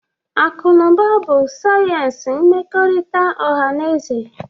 Akụ na ụba bụ sayensị mmekọrịta ọha na eze